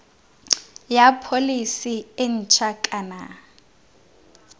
ya pholese e ntšha kana